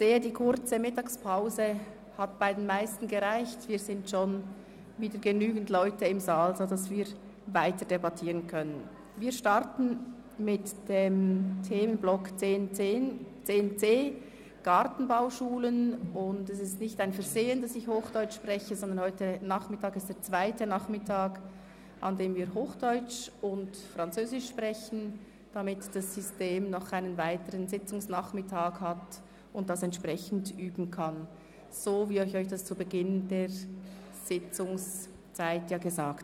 Es ist auf die Streichung der Beiträge an die einzige biologisch ausgerichtete Gartenbauschule Hünibach zu verzichten und gemäss der Motion 196-2017 (Gemäss Punkt 4.) mit der Gartenbauschule Hünibach eine neue Leistungsvereinbarung auszuhandeln, die einerseits den Fortbestand der Schule sichert und andererseits die Basis für eine mittel- bis langfristige realistische Steigerung des Eigenfinanzierungsgrades legt.